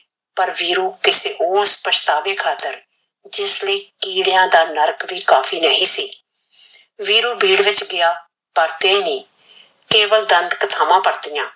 ਪਰ ਵੀਰੂ ਕਿਸੇ ਹੋਰ ਪਛਤਾਵੇ ਖਾਤਰ ਲਈ ਕਿਡ੍ਯਾਹ ਦਾ ਨਰਕ ਵੀ ਨਹੀ ਸੀ ਵੀਰੂ ਬੀੜ ਵਿਚ ਗ਼ਿਆ ਪਰਤਿਆ ਨਈ ਕੇਵਲ ਦੰਤ ਕਥਾਵਾ ਪ੍ਰਤੀਆ